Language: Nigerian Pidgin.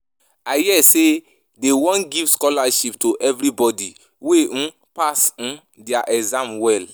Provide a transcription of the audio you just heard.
I hear say dey wan give scholarship to anybody wey um pass um their exam well